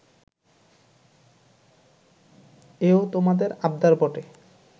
এও তোমাদের আবদার বটে